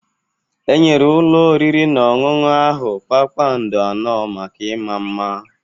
Enyere ụlọ oriri na ọṅụṅụ ahụ kpakpando anọ maka ịma mma.